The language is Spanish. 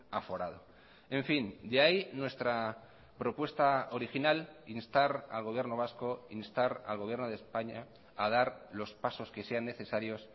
aforado en fin de ahí nuestra propuesta original instar al gobierno vasco instar al gobierno de españa a dar los pasos que sean necesarios